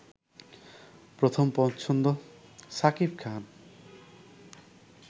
প্রথম পছন্দ শাকিব খান